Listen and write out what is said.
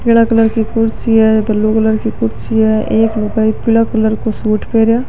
पीला कलर की कुर्सी है ब्लू कलर की कुर्सी है एक लुगाई पीला कलर को सूट पहने --